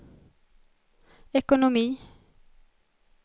ekonomi